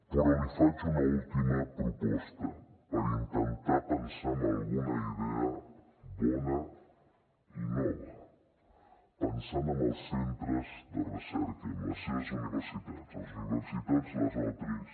però li faig una última proposta per intentar pensar en alguna idea bona i nova pensant en els centres de recerca i en les seves universitats les universitats les otris